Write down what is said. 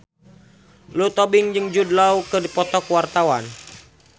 Lulu Tobing jeung Jude Law keur dipoto ku wartawan